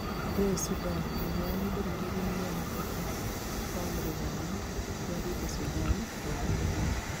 Ngũĩ Sudan: Mũheani ndũmĩrĩri MũAfrika wa Rũraya nĩathiĩte Sudan maranĩrie